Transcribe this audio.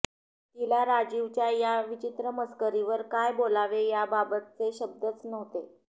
तिला राजीवच्या या विचित्र मस्करीवर काय बोलावे याबाबतचे शब्दच नव्हते